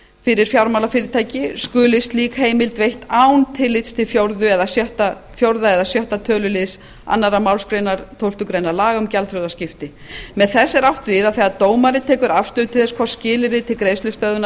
fyrir fjármálafyrirtæki skuli slík heimild veitt án tillits til fjórða eða sjötta töluliðs annarri málsgrein tólftu grein laga um gjaldþrotaskipti með þessu er átt við að þegar dómari tekur afstöðu til þess hvort skilyrði til greiðslustöðvunar